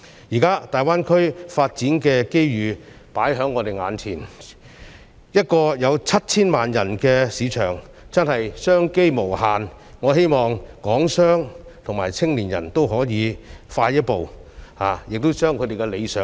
現在，大灣區發展的機遇放在我們眼前，一個有 7,000 萬人的市場真的是商機無限，我希望港商和青年人都可以走快一步，盡快達到他們的理想。